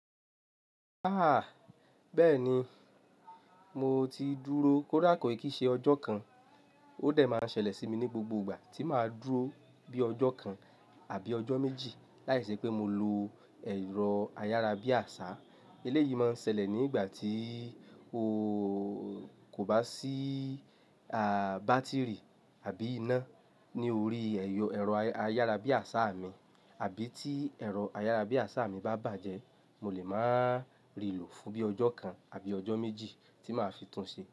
Aah! Bẹ́ẹ̀ni, mo ti dúró kóda kọ̀ ìkí n ṣẹ́ ọjọ́ kan, ó dẹ̀ máa ń ṣẹlẹ̀ sí mi ní gbogbo ìgbà tí màá dúró bí ọjọ́ kan àbí ọjọ́ méjì láìṣẹ́ pé mo lo ẹ̀rọ ayárabíàṣá. Eléyìí máa ń ṣẹlẹ̀ nígbà tí kò bá sí ààh, bátìrì àbí iná ní orí ẹ̀rọ ayárabíàṣá mi, àbí tí ẹ̀rọ ayárabíàṣá mi bá bàjẹ́, mo lè máa rìlò fún bí ọjọ́ kan àbí ọjọ́ méjì tí màá fi tún ṣe.